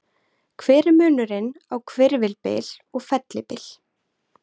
Hver er munurinn á hvirfilbyl og fellibyl?